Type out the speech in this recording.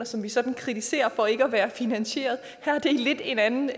som vi sådan kritiserer for ikke at være finansieret her er det lidt en anden